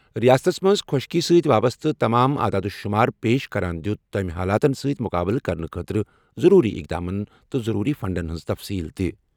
رِیاستس منٛز خۄشکی سۭتۍ وابسطہٕ تمام اعداد و شمار پیش کران دِیُت تٔمۍ حالاتنسۭتۍ مُقابلہٕ کرنہٕ خٲطرٕ ضروٗری اقداماتن تہٕ ضروٗری فنڈن ہِنٛز تفصیٖل تہِ۔